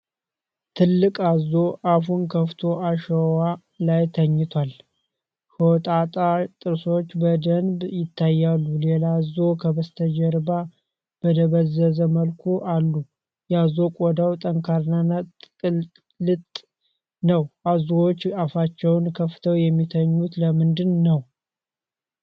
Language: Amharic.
ትልቅ አዞ አፉን ከፍቶ አሸዋ ላይ ተኝቷል። ሾጣጣ ጥርሶቹ በደንብ ይታያሉ። ሌላ አዞ ከበስተጀርባ በደበዘዘ መልኩ አሉ። የአዞ ቆዳው ጠንካራና ቅልጥ ነው። አዞዎች አፋቸውን ከፍተው የሚተኙት ለምንድን ነው?